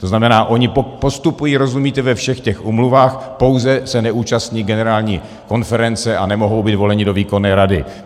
To znamená, ony postupují, rozumíte, ve všech těch úmluvách, pouze se neúčastní Generální konference a nemohou být voleny do výkonné rady.